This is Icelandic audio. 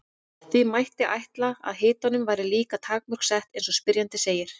því mætti ætla að hitanum væri líka takmörk sett eins og spyrjandi segir